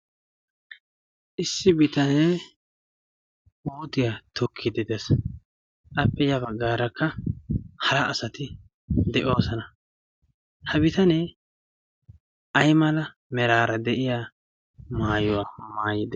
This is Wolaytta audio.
issi bitanee ootiyaa tokki dedas appe ya baggaarakka hara asati de7oosana ha bitanee ai mala meraara de7iya maayuwaa maayide